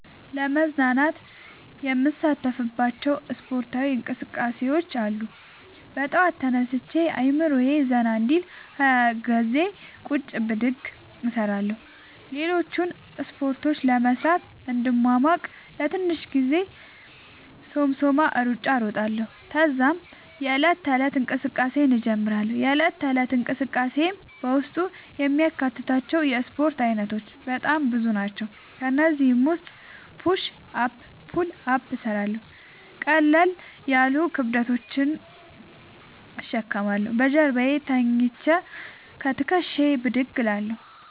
ለመዝናናት የምሣተፍባቸዉ እስፖርታዊ እንቅስቃሤዎች አሉ። በጠዋት ተነስቼ አእምሮየ ዘና እንዲል 20ገዜ ቁጭ ብድግ እሰራለሁ። ሌሎችን እስፖርቶች ለመሥራት እንድሟሟቅ ለትንሽ ጊዜ የሶምሶማ እሩጫ እሮጣለሁ። ተዛም የዕለት ተለት እንቅስቃሴየን እጀምራለሁ። የእለት ተለት እንቅስቃሴየም በውስጡ የሚያካትታቸዉ የእስፖርት አይነቶች በጣም ብዙ ናቸዉ። ከእነዚህም ዉስጥ ፑሽ አፕ ፑል አፕ እሠራለሁ። ቀለል ያሉ ክብደቶችን እሸከማለሁ። በጀርባየ ተኝቸ ከትክሻየ ብድግ እላለሁ።